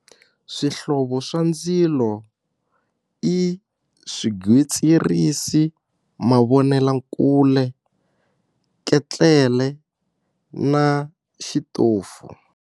Swihlovo swa ndzilo i swigwitsirisi, mavonelakule, ketlele na xitofu.